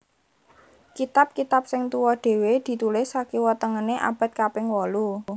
Kitab kitab sing tuwa dhéwé ditulis sakiwa tengené abad kaping wolu